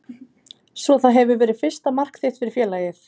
Svo það hefur verið fyrsta mark þitt fyrir félagið?